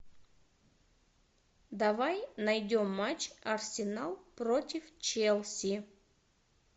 давай найдем матч арсенал против челси